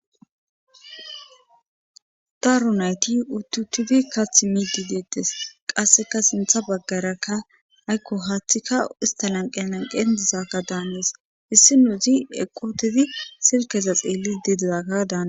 daaro nayti uttutudi kath miidi deettes qasseka sintha baggarakka aykko haaththika ista nanqe nanqe disaka daammes hissi nuuzi eqotidi sirkeza xeelli didezaka daana